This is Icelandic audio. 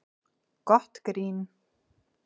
Gott grín